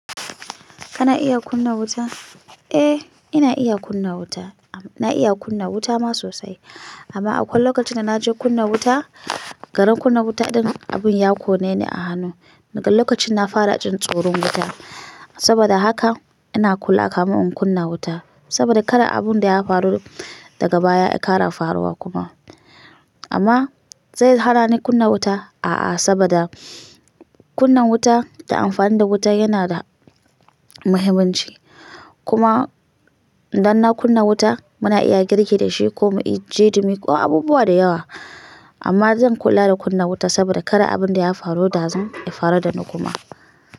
Kana iya kunna wuta? Eh, ina iya kunna wuta. Na iya kunna wuta ma sosai. Amma akwai lokacin da na je kunna wuta, garin kunna wuta din abun ya kone ni a hannu. Daga lokacin na fara jin tsoron wuta. Saboda haka ina kula kamin in kunna wuta. Sabida kada abun da ya faru daga baya ya ƙara faruwa kuma. Amma zai hana ni kunna wuta? A'a, sabida kunna wuta da amfani da wuta yana da muhimmanci. Kuma idan na kunna wuta muna iya girki da shi ko mu yi jeɗimi ko abubuwa da yawa. Amma zan kula da kunna wuta saboda kada abun da ya faru dazun ya faru da ni kuma.